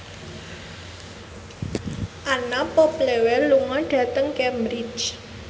Anna Popplewell lunga dhateng Cambridge